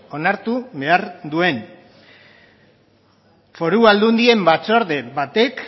onartu behar duen foru aldundien batzorde batek